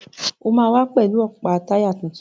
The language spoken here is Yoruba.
O máa wá pẹ̀lú ọ̀pá táyà tuntun.